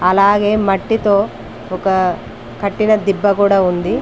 అలాగే మట్టితో ఒక కట్టిన దిబ్బ కూడా ఉంది.